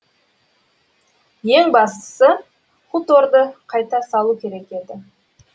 ең бастысы хуторды қайта салу керек еді